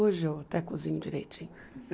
Hoje eu até cozinho direitinho.